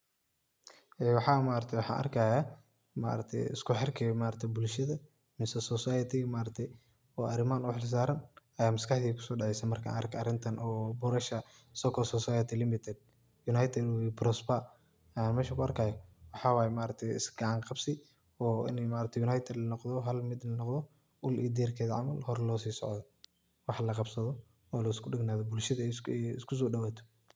Ee mxaaa maaragtay waxa arkahaya, maargtay iskuxeerka bulshada mise society maargtahay oo arimaha u xeelsaran Aya MasQaxdey kusodaceesah marka arkoh arintan oo borosha soco society limited united we prosper mxa mesha ku arkahaya maxawaye maaragtay iska kacanqabsi oo Ina maaragtay united la noqdoh Hal meet la noqdoh oo deerketha camal hoor lo sesocdoh, waxalaqabsadoh oo lisku degnathoh bulshada iskusodiwatoh.